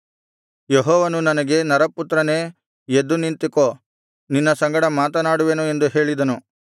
ಯೆಹೋವನು ನನಗೆ ನರಪುತ್ರನೇ ಎದ್ದು ನಿಂತುಕೋ ನಿನ್ನ ಸಂಗಡ ಮಾತನಾಡುವೆನು ಎಂದು ಹೇಳಿದನು